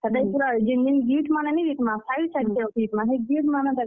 ହେତାକେ ପୁରା ଜେନ୍ ଜେନ୍ gift ମାନେ ନି ଦେଇଥିମା, side side କେ ରଖି ଦେଇଥିମା, ହେ gift ମାନେ ଦେଖ୍।